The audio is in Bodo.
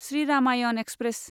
श्री रामायन एक्सप्रेस